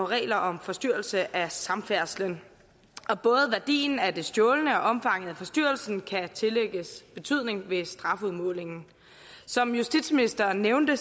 regler om forstyrrelse af samfærdselen og både værdien af det stjålne og omfanget af forstyrrelsen kan tillægges betydning ved strafudmålingen som justitsministeren nævnte